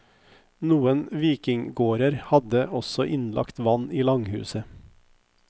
Noen vikinggårder hadde også innlagt vann i langhuset.